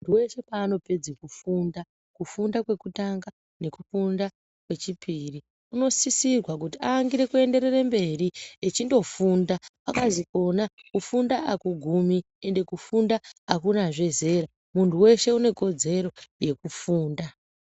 Munthu weshe paanopedza kufunda kufunda kwekutanga nekwechipiri unosisirwa kuti aangire echienderere mberi echondofunda kwakazi kona kufunda akugumi ende kufunda akunazve zeramunthu weshe unekodzero yekufunda.